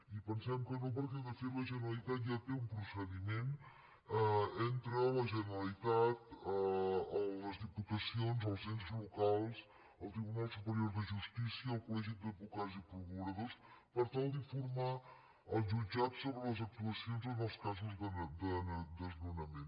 i pensem que no perquè de fet la generalitat ja té un procediment entre la generalitat les diputacions els ens locals el tribunal superior de justícia el col·legi d’advocats i procuradors per tal d’informar els jutjats sobre les actuacions en els casos de desnonament